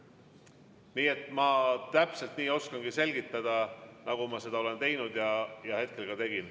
Nii et ma täpselt nii oskangi selgitada, nagu ma seda olen teinud ja ka hetkel tegin.